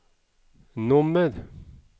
nummer